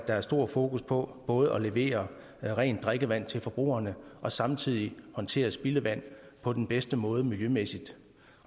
er stor fokus på både at levere rent drikkevand til forbrugerne og samtidig håndtere spildevand på den bedste måde miljømæssigt